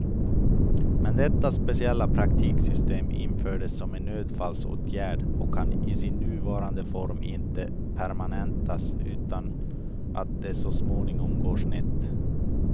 Men detta speciella praktiksystem infördes som en nödfallsåtgärd och kan i sin nuvarande form inte permanentas utan att det så småningom går snett.